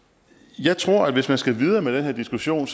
jeg tror at hvis man skal videre med den her diskussion